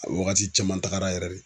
A wagati caman tagara yɛrɛ de.